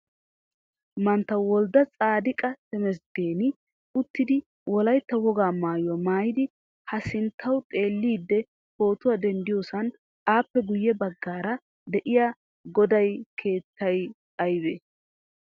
Mantta Woldde tsaadiqqa Tamasggani uttidi wolaytta wogaa maayuwaa maayidi ha sinttawu xeelidi pootuwaa denddiyosan appe guyye baggaara deiyaa goday keetteye aybe?